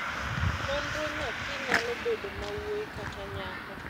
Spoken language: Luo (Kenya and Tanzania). nonro nyathi nyalo bedo mawuoi kata nyako